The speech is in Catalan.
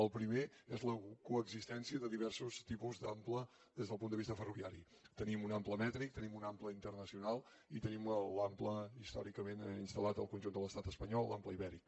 el primer és la coexistència de diversos tipus d’ample des del punt de vista ferroviari tenim un ample mètric tenim un ample internacional i tenim l’ample històricament instalibèric